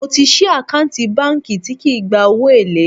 Mo ti sì àkáǹtì báńkì tí kì í gba owó èlé